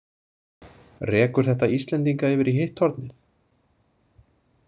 Rekur þetta Íslendinga yfir í hitt hornið?